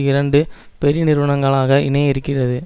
இரண்டு பெரிய நிறுவனங்களாக இணைய இருக்கிறது